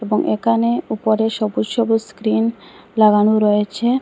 এবং একানে উপরে সবুজ সবুজ স্ক্রিন লাগানো রয়েছে।